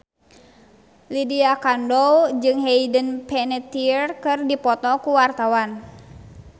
Lydia Kandou jeung Hayden Panettiere keur dipoto ku wartawan